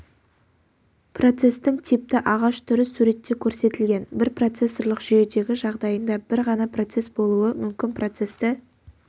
процестің типті ағаш түрі суретте көрсетілген бір процессорлық жүйедегі жағдайында бір ғана процесс болуы мүмкін процесті